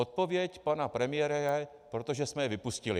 Odpověď pana premiéra je: Protože jsme je vypustili.